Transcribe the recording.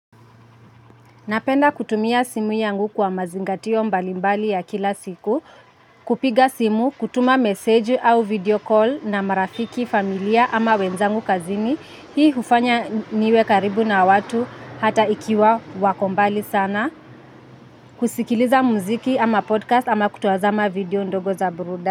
Napenda kutumia simu yangu kwa mazingatio mbalimbali ya kila siku. Kupiga simu, kutuma meseji au video call na marafiki familia ama wenzangu kazini. Hii hufanya niwe karibu na watu hata ikiwa wako mbali sana. Kusikiliza muziki ama podcast ama kutazama vidio ndogo za burudani.